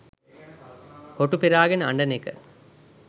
හොටු පෙරාගෙන අඬන එක.